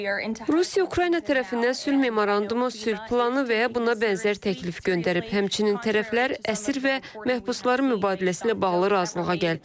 Rusiya Ukrayna tərəfindən sülh memorandumu, sülh planı və ya buna bənzər təklif göndərib, həmçinin tərəflər əsir və məhbusların mübadiləsi ilə bağlı razılığa gəliblər.